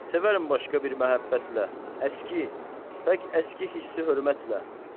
Sevərəm başqa bir məhəbbətlə, əski, tək əski hissi hörmətlə.